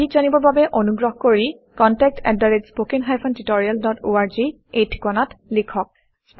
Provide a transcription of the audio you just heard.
অধিক জানিবৰ বাবে অনুগ্ৰহ কৰি কণ্টেক্ট আত spoken hyphen tutorial dot org - এই ঠিকনাত লিখক